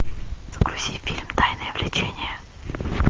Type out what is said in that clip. загрузи фильм тайное влечение